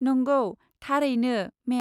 नंगौ, थारैनो, मेम।